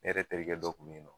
E yɛrɛ terikɛ dɔ kun be yen nɔ